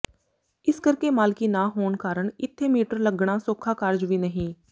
ਇਸ ਕਰਕੇ ਮਾਲਕੀ ਨਾ ਹੋਣ ਕਾਰਨ ਇੱਥੇ ਮੀਟਰ ਲੱਗਣਾ ਸੌਖਾ ਕਾਰਜ ਵੀ ਨਹੀਂ